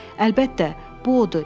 Əlbəttə, bu odur.